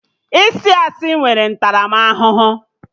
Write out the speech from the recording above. Ịsị asị nwere ntaramahụhụ